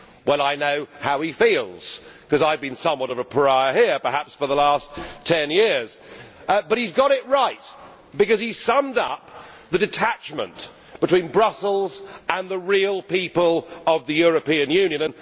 Well I know how he feels because I have been somewhat of a pariah here perhaps for the last 10 years, but he has got it right because he summed up the detachment between Brussels and the real people of the European Union.